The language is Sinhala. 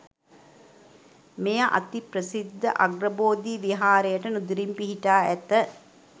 මෙය අති ප්‍රසිද්ධ අග්‍රබෝධි විහාරයට නුදුරින් පිහිටා ඇත.